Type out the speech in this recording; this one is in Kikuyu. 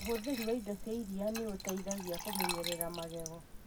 ũhuthĩri wa indo cia iria nĩ ũteithagia kũmenyerera magego.